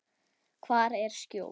Hvar er skjól?